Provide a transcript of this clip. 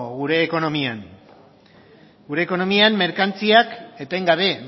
gure ekonomian gure ekonomian merkantziak etengabe